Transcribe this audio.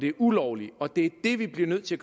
er ulovligt og det er det vi bliver nødt til